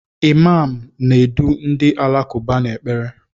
Imaam na-edu ndị Alakụba n'ekpere.